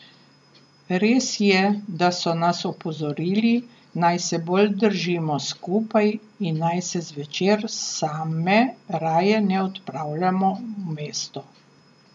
Res je, da so nas opozorili, naj se bolj držimo skupaj in naj se zvečer same raje ne odpravljamo v mesto.